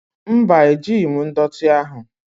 Mba, ejighi m ndọtị ahụ.